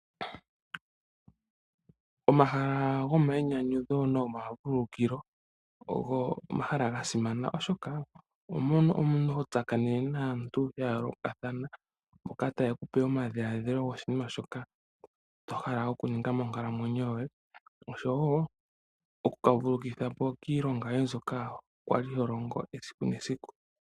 Omahala gomainyanyudho ogo omahala gasimana oshoka oho tsakanenemo naantu yayoolokathana mboka teye kupe omadhiladhilo goshinima shoka wahala okuninga moonkalamwenyo yoye.